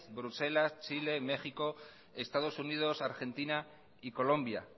bruselas chile méxico estados unidos argentina y colombia